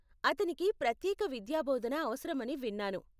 అతనికి ప్రత్యేక విద్యాబోధన అవసరం అని విన్నాను.